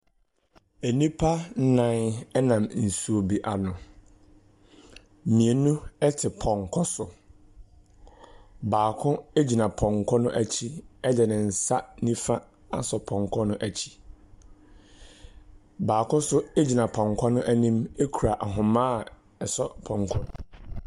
Nnipa nnan nam nsuo bi ano. Mmienu te pɔnkɔ so. Baako gyina pɔnkɔ no akyi de ne nsa nifa asɔ pɔnkɔ no akyi. Baako nso gyina pɔnkɔ no anim asɔ ahoma a ɛsɔ pɔnkɔ no mu.